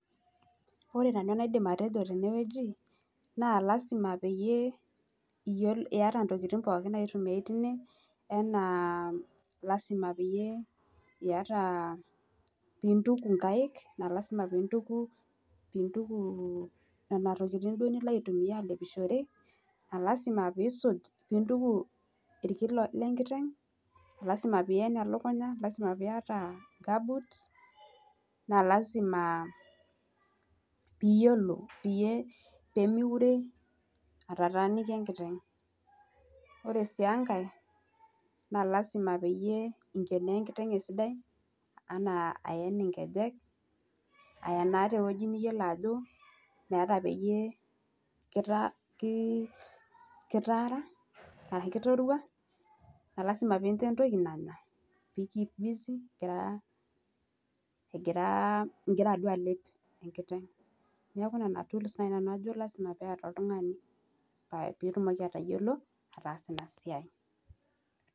Ore nanu enaidim atejo tenewueji naa lazima peyie iyata intokiting pookin naitumiai tine enaa lazima peyie iyata, piintuku inkaik, naa lazima piintuku nena tokiting duo nilo alepishore naa lazima piisuj, piintuku irkin lenkiteng, lazima pien elukunya, lazima piyata nkabuts, naa lazima piiyiolo pemiure atataaniki enkiteng'. Ore sii enkae naa lazima peyie inkenoo enkiteng' esidai anaa aen inkejek aenaa tewueji niyiolo ajo meeta peyie kitaara ashu kitorwa. Naa lazima piincho entoki nanya pee in keep busy igira alep enkiteng. Neeku nena tools naai nanu ajo lazima peeta oltung'ani peetumoki atayiolo ataasa ina siai